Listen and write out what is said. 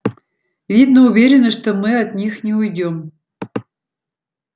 видно уверены что мы от них не уйдём